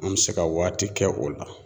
An bɛ se ka waati kɛ o la.